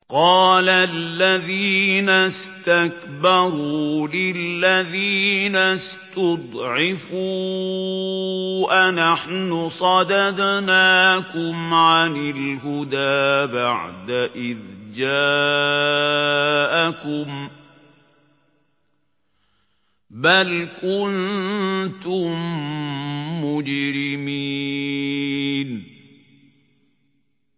قَالَ الَّذِينَ اسْتَكْبَرُوا لِلَّذِينَ اسْتُضْعِفُوا أَنَحْنُ صَدَدْنَاكُمْ عَنِ الْهُدَىٰ بَعْدَ إِذْ جَاءَكُم ۖ بَلْ كُنتُم مُّجْرِمِينَ